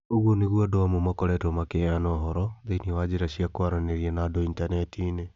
ũguo nigwo andũ amwe maakoretwo makĩheana ũhoro thĩinĩ wa njĩra cia kwaranĩria na andũ intaneti-inĩ.